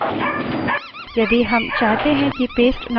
अब slide पर जाएँ